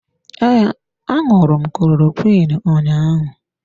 Ee, aṅụru m klorokwiin ụnyaahụ.